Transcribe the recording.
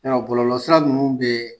Yarɔ bɔlɔlɔ sira ninnu bɛ